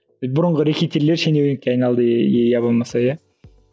бұрынғы рэкетирлер шенеунікке айналды иә болмаса иә